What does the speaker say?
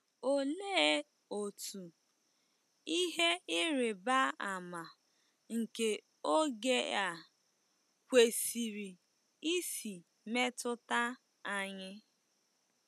Olee otú “ihe ịrịba ama nke oge a” kwesịrị isi metụta anyị?